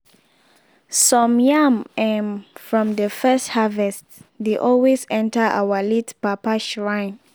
some yam um from de first harvest de always enter our late papa shrine.